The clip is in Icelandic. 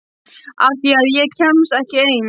Af því að ég kemst ekki ein.